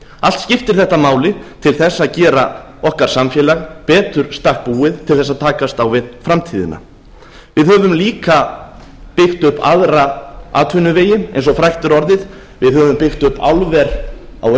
allt skiptir þetta máli til þess að gera okkar samfélag betur í stakk búið til þess að takast á við framtíðina við höfum líka byggt upp aðra atvinnuvegi eins og frægt er orðið við höfum byggt upp álver á